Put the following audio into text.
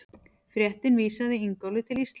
Fréttin vísaði Ingólfi til Íslands.